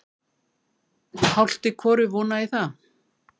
Hálft í hvoru vona ég það.